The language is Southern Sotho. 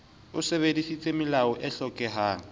o sebedisitse melao e hlokehang